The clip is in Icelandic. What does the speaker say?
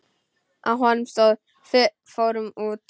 Á honum stóð: Fórum út!